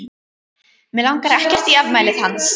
Mig langar ekkert í afmælið hans.